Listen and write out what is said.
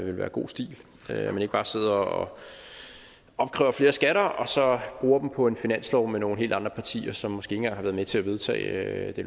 være god stil at man ikke bare sidder og opkræver flere skatter og så bruger dem på en finanslov med nogle helt andre partier som måske ikke engang har været med til at vedtage det